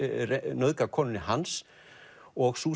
nauðgað konunni hans og sú